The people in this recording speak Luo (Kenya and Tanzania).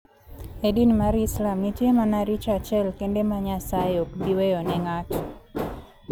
E din mar Islam, nitie mana richo achiel kende ma Nyasaye ok bi weyo ne ng'ato.